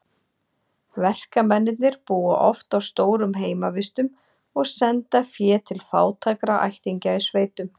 Verkamennirnir búa oft á stórum heimavistum og senda fé til fátækra ættingja í sveitum.